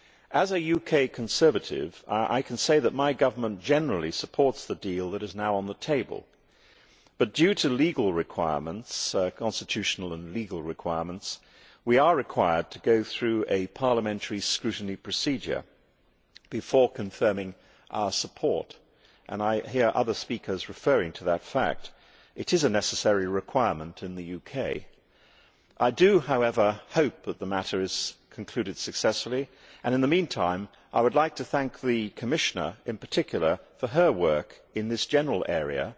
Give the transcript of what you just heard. As a UK Conservative, I can say that my government generally supports the deal that is now on the table, but owing to constitutional and legal requirements we are required to go through a parliamentary scrutiny procedure before confirming our support. I have heard other speakers referring to that fact. It is a necessary requirement in the UK. I do, however, hope that the matter is concluded successfully and in the meantime I would like to thank the Commissioner in particular for her work in this general area